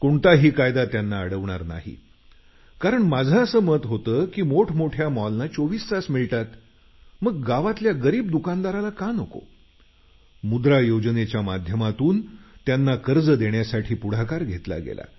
कोणताही कायदा त्यांना अडवणार नाही माझं मत असं होतं की मोठमोठ्या मॉलना 24 तास मिळतात मग गावातल्या गरिबांना का नको मुद्रा योजनेच्या माध्यमातून त्यांना कर्ज देण्यासाठी पुढाकार घेतला गेला